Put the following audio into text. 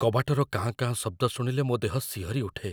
କବାଟର କାଁ କାଁ ଶବ୍ଦ ଶୁଣିଲେ ମୋ ଦେହ ଶିହରି ଉଠେ।